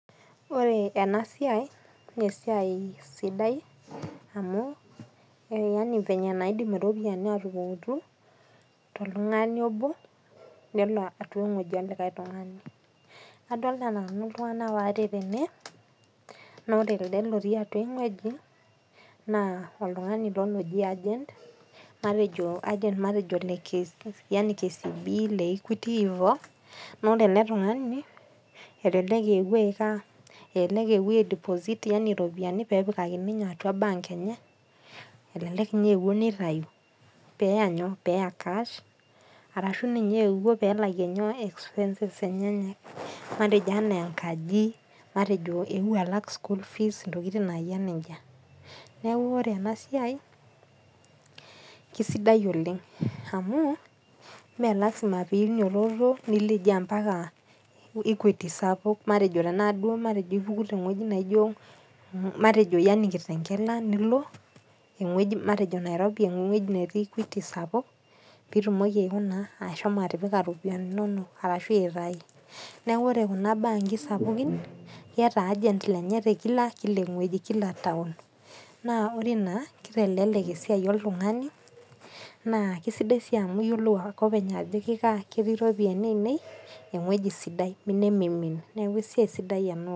Ore enasiai, nesiai sidai amu, yani venye naidim iropiyiani atupukutu, toltung'ani obo nelo eng'oji olikae tung'ani. Adolta nanu iltung'anak waare tene, nore elde lotii atua eng'ueji, naa oltung'ani ilo loji argent, matejo argent matejo le KCB, le Equity ivo, nore ele tung'ani, elelek eewuo ai deposit yani ropiyiani pepikakini nyoo atua bank enye, elelek inye eewuo nitayu, peya nyoo, peya cash, arashu ninye eewuo pelakie nyoo, expenses. Matejo enaa enkaji, matejo eewuo alak school fees ntokiting nayia nejia. Neeku ore enasiai, kesidai oleng amu, me lasima pinyototo nileji ampaka Equity sapuk, matejo naduo ipuku teng'ueji naijo matejo yani Kitengela, nilo eng'ueji matejo Nairobi eng'ueji netii Equity sapuk, pitumoki aikunaa, ashomo atipika iropiyiani inonok, arashu aitayu. Neeku ore kuna baa nkisapukin, keeta argent lenye tekila kila eng'ueji. Kila taon. Naa ore ina, kitelelek esiai oltung'ani, naa kesidai si amu iyiolou ake openy ajo kikaa, ketii ropiyiani ainei eng'ueji sidai nimimin. Neeku esidai ena oleng.